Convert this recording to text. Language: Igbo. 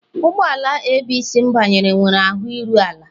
Ụgbọ ala ABC m banyere nwere ahụ iru ala.